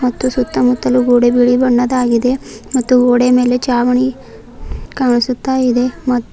ಮತ್ತು ಸುತ್ತಮುತ್ತಲು ಗೋಡೆ ಬಿಳಿ ಬಣ್ಣದಾಗಿದೆ ಮತ್ತು ಗೋಡೆ ಮೇಲೆ ಛಾವಣಿ ಕಾಣಿಸುತ್ತಾ ಇದೆ.